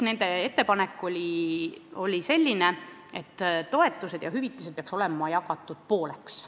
Nende ettepanek oli selline, et toetused ja hüvitised peaksid olema jagatud pooleks.